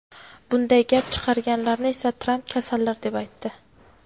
Bunday gap chiqarganlarni esa Tramp "kasallar" deb aytdi.